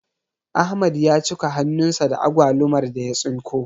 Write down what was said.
Ahmad ya cika hannun sa da agwalumar da ya tsinko